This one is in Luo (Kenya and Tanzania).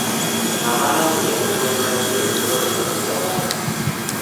Ngama nonyieo gwen mangeny nyoro nomii zawadi